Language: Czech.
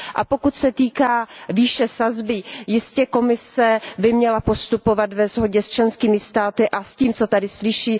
Pokud se týká výše sazby, jistě by Komise měla postupovat ve shodě s členskými státy a s tím, co tady slyší.